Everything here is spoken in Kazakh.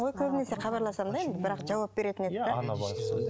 көбінесе хабарласамын да енді бірақ жауап беретін еді де